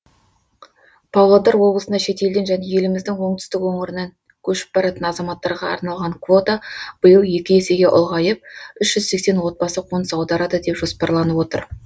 павлодар облысына шетелден және еліміздің оңтүстік өңірінің көшіп баратын азаматтарға арналған квота биыл екі есеге ұлғайып үш жүз сексен отбасы қоныс аударады деп жоспарланып отыр